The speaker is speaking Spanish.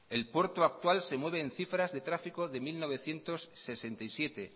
el puerto actual se mueve en cifras de tráfico de mil novecientos sesenta y siete